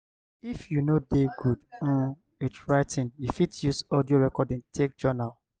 if you no dey good um with writing you fit use audio recording take journal